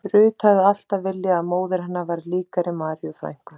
Ruth hafði alltaf viljað að móðir hennar væri líkari Maríu frænku